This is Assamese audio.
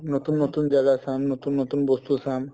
নতুন নতুন জাগা চাম নতুন নতুন বস্তু চাম